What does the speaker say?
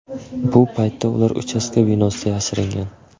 Bu paytda ular uchastka binosida yashiringan.